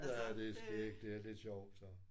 Ja det er skægt det er lidt sjovt sådan